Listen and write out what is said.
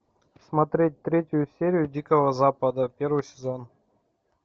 смотреть третью серию дикого запада первый сезон